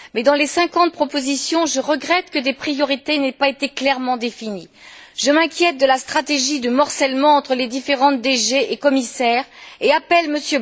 Mais dans les cinquante propositions, je regrette que des priorités n'aient pas été clairement définies. Je m'inquiète de la stratégie de morcellement entre les différentes DG et commissaires et appelle M.